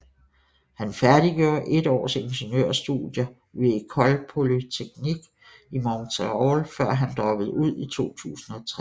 Han færdiggjorde et års ingeniørstudier ved École Polytechnique i Montréal før han droppede ud i 2003